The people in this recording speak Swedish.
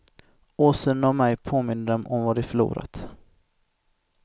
Åsynen av mig påminde dem om vad de förlorat.